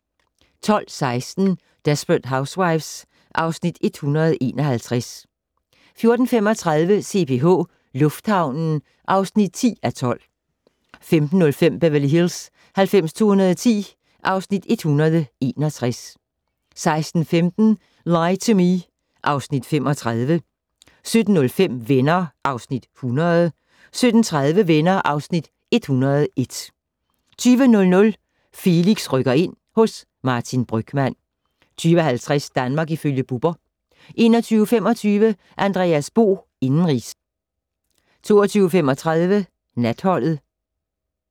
12:16: Desperate Housewives (Afs. 161) 14:35: CPH - lufthavnen (10:12) 15:05: Beverly Hills 90210 (Afs. 161) 16:15: Lie to Me (Afs. 35) 17:05: Venner (Afs. 100) 17:30: Venner (Afs. 101) 20:00: Felix rykker ind - hos Martin Brygmann 20:50: Danmark ifølge Bubber 21:25: Andreas Bo - indenrigs 22:35: Natholdet